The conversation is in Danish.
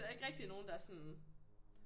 Der ikke rigtig nogen der er sådan